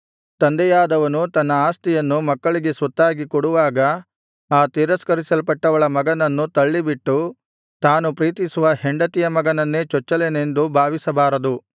ತಂದೆಯಾದವನು ತನ್ನ ಆಸ್ತಿಯನ್ನು ಮಕ್ಕಳಿಗೆ ಸ್ವತ್ತಾಗಿ ಕೊಡುವಾಗ ಆ ತಿರಸ್ಕರಿಸಲ್ಪಟ್ಟವಳ ಮಗನನ್ನು ತಳ್ಳಿಬಿಟ್ಟು ತಾನು ಪ್ರೀತಿಸುವ ಹೆಂಡತಿಯ ಮಗನನ್ನೇ ಚೊಚ್ಚಲನೆಂದು ಭಾವಿಸಬಾರದು